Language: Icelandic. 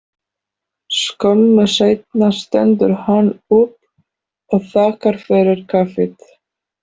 Skömmu seinna stendur hann upp og þakkar fyrir kaffið.